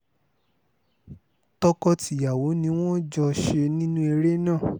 tọkọ-tìyàwó ni wọ́n jọ ṣe nínú eré náà